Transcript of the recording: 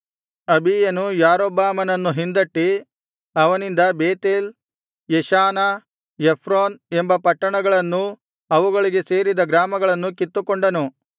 ಅಬೀಯನು ಯಾರೊಬ್ಬಾಮನನ್ನು ಹಿಂದಟ್ಟಿ ಅವನಿಂದ ಬೇತೇಲ್ ಯೆಷಾನಾ ಎಪ್ರೋನ್ ಎಂಬ ಪಟ್ಟಣಗಳನ್ನೂ ಅವುಗಳಿಗೆ ಸೇರಿದ ಗ್ರಾಮಗಳನ್ನೂ ಕಿತ್ತುಕೊಂಡನು